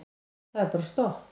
Það er bara stopp.